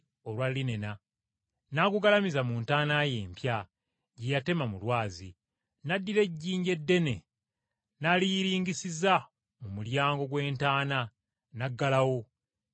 n’agugalamiza mu ntaana ye empya gye yatema mu lwazi, n’addira ejjinja eddene n’aliyiringisiza mu mulyango gw’entaana n’aggalawo, ne yeetambulira.